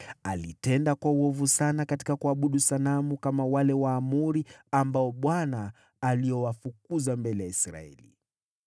Alitenda kwa uovu sana katika kuabudu sanamu, kama wale Waamori ambao Bwana aliowafukuza mbele ya Israeli.)